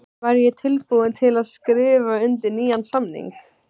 Væri ég tilbúinn til að skrifa undir nýjan samning?